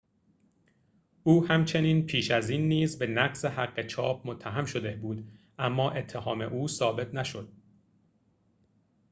او همچنین پیش از این نیز به نقض حق چاپ متهم شده بود اما اتهام او ثابت نشد